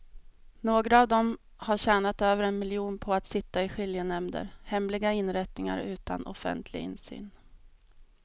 Några av dem har tjänat över en miljon på att sitta i skiljenämnder, hemliga inrättningar utan offentlig insyn.